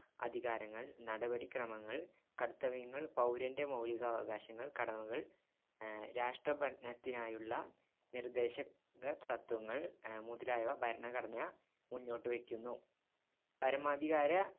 അധികാരങ്ങൾ നടപടിക്രമങ്ങൾ കർത്തവ്യങ്ങൾ പൗരന്റെ മൗലികാവകാശങ്ങൾ കടമകൾ അഹ് രാഷ്ട്രഭരണത്തിനായുള്ള നിർദേശക തത്ത്വങ്ങൾ മുതലായവ ഭരണഘടന മുന്നോട്ടുവയ്ക്കുന്നു പരമാധികാര